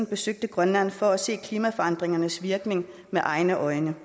besøger grønland for at se klimaforandringernes virkning med egne øjne